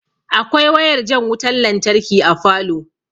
Akwai wayar jan wutan lantarki a falow